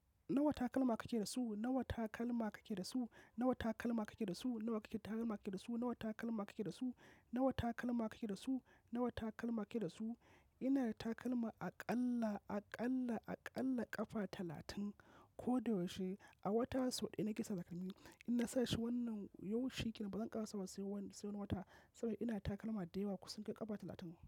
Nawa takalma kake da su? Nawa takalma kake da su? Nawa takalma kake da su? Nawa takalma kake da su? Nawa takalma kake da su? Nawa takalma kake da su? Nawa takalma kake da su? Ina da takalma aƙalla, aƙalla, aƙalla ƙafa talatin ko da yaushe. A wata sau ɗaya na kisa zakamin yi. In na sashi wannan yau shikenan bazan ƙara saurayi wani, sai wani wata saboda ina takalma da yawa ku san kai ƙafa talatin.